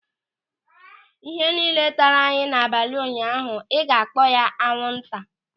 Ịhe niile taara anyị n'abalị ụnyaahụ, ịga kpọọ ya anwụnta?